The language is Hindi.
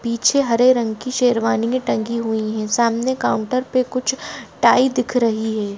पीछे हरे रंग की शेरवानीयां टंगी हुई हैं सामने काउंटर पे कुछ टाई दिख रही है।